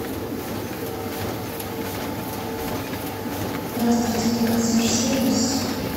здравствуйте это консьерж сервис